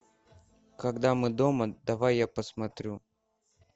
когда мы дома давай я посмотрю